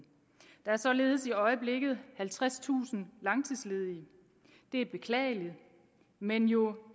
der er således i øjeblikket halvtredstusind langtidsledige det er beklageligt men jo